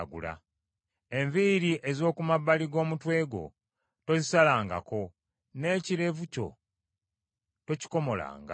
“Enviiri ez’oku mabbali g’omutwe gwo tozisalangako; n’ekirevu kyo tokikomolanga.